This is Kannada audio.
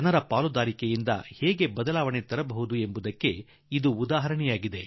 ಜನರ ಭಾಗವಹಿಸುವಿಕೆಯಿಂದ ಎಂತಹ ಬದಲಾವಣೆ ತರಲು ಸಾಧ್ಯ ಎಂಬುದಕ್ಕೆ ಇದು ಉದಾಹರಣೆ